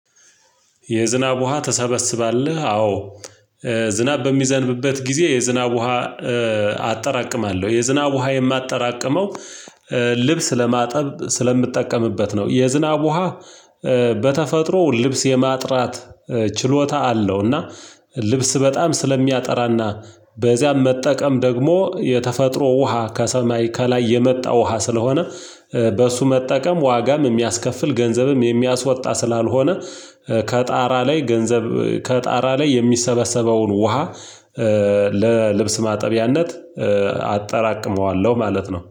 የዝናብ ውሃ ትሰበስባለህ? አዎ ዝናብ በሚዘንብበት ጊዜ የዝናብ ውሃ አጠራቅማለሁ የዝናብ ውሃ የማጠራቅመው ልብስ ለማጠብ ስለምጠቀምበት ነው የዝናብ ውሃ በተፈጥሮ ልብስ የማጥራት ችሎታ አለው እና ልብስ በጣም ስለሚያጠራና በዚያም መጠቀም ደግሞ የተፈጥሮ ውሃ ከሰማይ ከላይ የመጣ ውሃ ስለሆነ በእሱ መጠቀም ዋጋም የሚያስከፍል ገንዘብም የሚያስወጣ ስላልሆነ ከጣራ ላይ ገንዘብ ከጣራ ላይ የሚሰበሰበውን ውሃ ለልብስ ማጠቢያነት አጠራቅመዋለሁ ማለት ነው